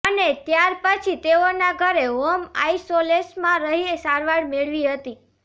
અને ત્યાર પછી તેઓના ઘરે હોમ આઈસોલેશમાં રહી સારવાર મેળવી હતી